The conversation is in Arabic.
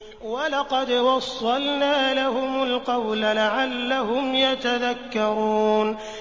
۞ وَلَقَدْ وَصَّلْنَا لَهُمُ الْقَوْلَ لَعَلَّهُمْ يَتَذَكَّرُونَ